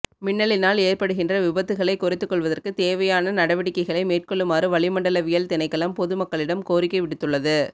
மின்னலினால் ஏற்படுகின்ற விபத்துக்களை குறைத்து கொள்வதற்கு தேவையான நடவடிக்கைகளை மேற்கொள்ளுமாறு வளிமண்டலவியல் திணைக்களம் பொது மக்களிடம் கோரிக்கை விடுத்துள்ளது